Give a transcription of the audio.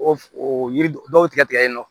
O f o yiri dɔw tigɛ yen nɔ